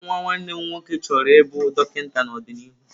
Nwa nwanne m nwoke chọrọ ịbụ dọkịta n'ọdịnihu.